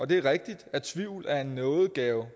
det er rigtigt at tvivl er en nådegave